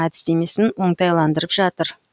әдістемесін оңтайландырып жатыр